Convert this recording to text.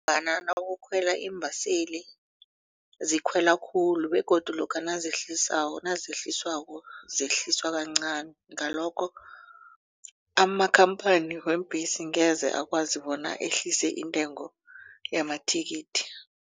nakukhwela iimbaseli zikhwela khulu begodu lokha nazehlisako nazehliswako zehliswa kancani. Ngalokho amakhamphani weembhesi angeze akwazi bona ehlise intengo yamathikithi.